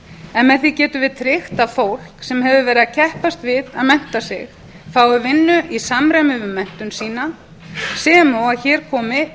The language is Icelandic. en með því gætum við tryggt að fólk sem hefur verið að keppast við að mennta sig fái vinnu í samræmi við menntun sína sem og að hér komi